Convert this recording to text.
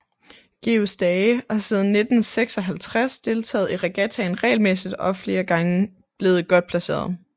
Georg Stage har siden 1956 deltaget i regattaen regelmæssigt og er flere gange blevet godt placeret